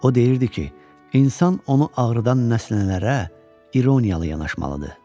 O deyirdi ki, insan onu ağrıdan nəsənələrə ironiyalı yanaşmalıdır.